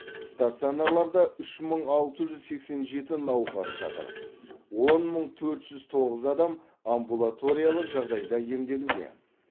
стационарларда үш мың алты жүз сексен жеті науқас жатыр он мың төрт жүз тоғыз адам амбулаториялық жағдайда емделуде